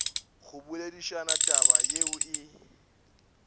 go boledišana taba yeo e